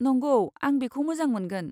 नंगौ, आं बेखौ मोजां मोनगोन।